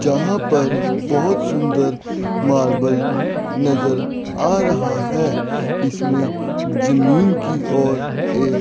जहां पर बहोत सुंदर मार्बल नजर आ रहा है इसमें जमीन की ओर एक--